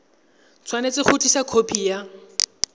tshwanetse go tlisa khopi ya